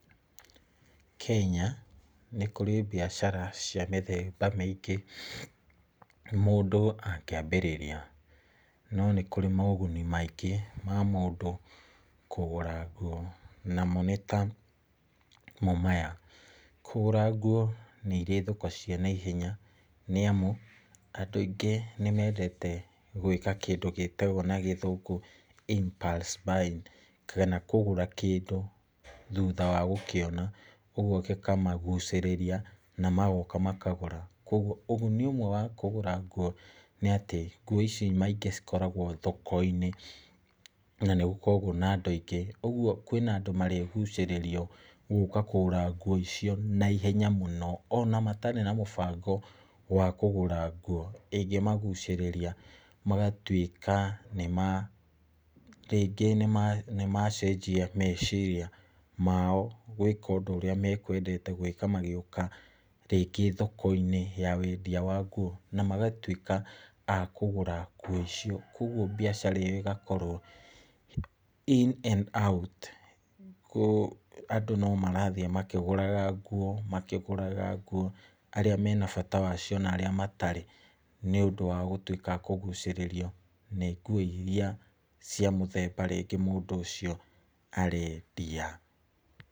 Kenya nĩ kũrĩ biacara cia mĩthemba mĩingĩ mũndũ angĩambĩrĩria , no nĩ kũrĩ moguni maingĩ ma mũndũ kũgũra nguo , namo nĩ ta mo maya, kũgũra nguo nĩ iri thoko cia na ihenya nĩ amu, andũ aingĩ nĩ mendete gwĩka kĩndũ gĩtagwo na gĩthũngũ impulse buying, kana kũgũra kĩndũ thutha wa gũkĩona , ũgwo gĩkamagucĩrĩria na magoka makagũra, kũgwo uguni ũmwe wa kũgũra nguo nĩ atĩ, nguo ici maingĩ cikoragwo thoko-inĩ, na nĩ gũkoragwo na andũ aingĩ , ũgwo kwĩna andũ marĩgucĩrĩrio gũka kũgũra nguo icio na ihenya mũno, ona matarĩ na mũbango wa kũgũra nguo ingĩmagucĩrĩria magatwĩka, rĩngĩ nĩmacenjia meciria mao gwĩka ũndũ ũrĩa makwendete gwĩka magĩuka, rĩngĩ thoko-inĩ ya wendia wa nguo, na magatwĩka akũgũra nguo icio , kũgwo biacara ĩyo ĩgakorwo in and out, andũ no marathiĩ makigũraga nguo, makigũraga nguo arĩa mena bata wacio na arĩa matarĩ , nĩ ũndũ wa gũtwĩka akũgucĩrĩrio nĩ nguo iria cia mũthemba rĩngĩ mũndũ ũcio arendia.